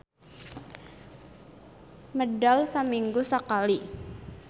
Medal saminggu sakali.